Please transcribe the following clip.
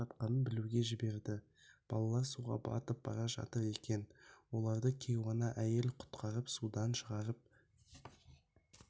жатқанын білуге жіберді балалар суға батып бара жатыр екен оларды кейуана әйел құтқарып судан шығарып